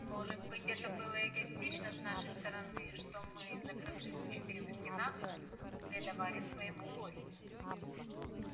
может быть это было эгоистично с нашей стороны что мы закрывшись в четырёх стенах предавались своему горю